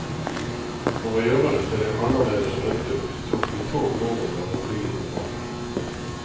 For å gjøre det til en annerledes rundtur, tok vi tog nordover og flyet tilbake.